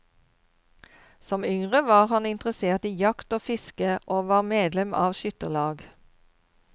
Som yngre var han interessert i jakt og fiske og var medlem av skytterlag.